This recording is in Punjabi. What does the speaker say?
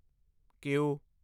ਕੀਊ